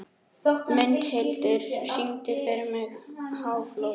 Mundhildur, syngdu fyrir mig „Háflóð“.